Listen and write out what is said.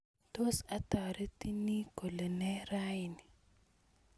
tos ataretini kole nee raini